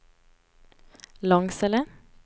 Långsele